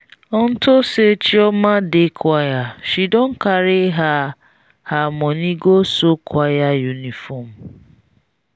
unto say chioma dey choir she don carry her her money go sew choir uniform.